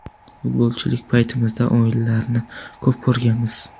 Futbolchilik paytimizda o‘yinlarini ko‘p ko‘rganmiz.